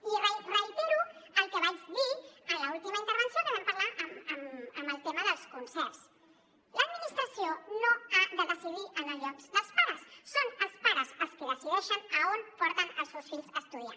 i reitero el que vaig dir en l’última intervenció que vam parlar del tema dels concerts l’administració no ha de decidir en el lloc dels pares són els pares els qui decideixen a on porten els seus fills a estudiar